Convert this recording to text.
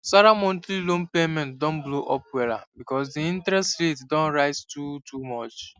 sarah monthly loan payment don blow up wella because the interest rate don rise too too much